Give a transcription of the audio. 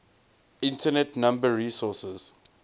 internet number resources